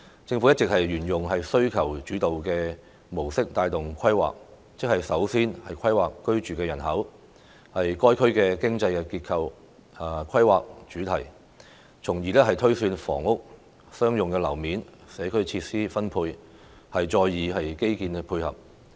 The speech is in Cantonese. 政府一直沿用"需求主導"的模式帶動規劃，即是首先規劃居住人口、該區經濟結構和規劃主題，從而推算房屋、商用樓面數量和社區設施分配，再以基建作配合。